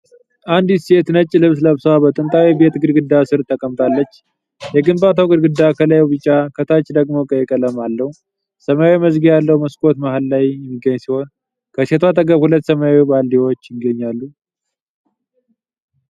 አንዲት ሴት ነጭ ልብስ ለብሳ በጥንታዊ ቤት ግድግዳ ስር ተቀምጣለች። የግንባታው ግድግዳ ከላይ ቢጫ፣ ከታች ደግሞ ቀይ ቀለም አለው። ሰማያዊ መዝጊያ ያለው መስኮት መሃል ላይ የሚገኝ ሲሆን፣ ከሴቷ አጠገብ ሁለት ሰማያዊ ባልዲዎች ይገኛሉ።